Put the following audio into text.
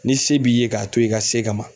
Ni se b'i ye k'a to ye i ka se ka ma